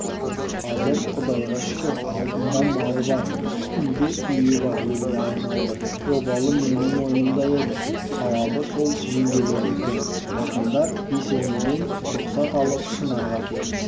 қазір құдайға шүкір алдында малы бар үстінде үйі бар елге айналды обалы менің мойнымда еді сауабы сол жеңгелеріңдікі ақындар есенейден лұқсат алып шынарға келіп